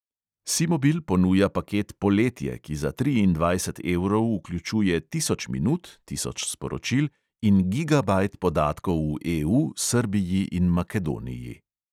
Simobil ponuja paket poletje, ki za triindvajset evrov vključuje tisoč minut, tisoč sporočil in gigabajt podatkov v EU, srbiji in makedoniji.